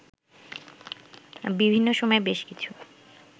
বিভিন্ন সময়ে বেশ কিছু